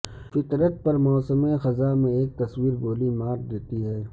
فطرت پر موسم خزاں میں ایک تصویر گولی مار دیتی ہے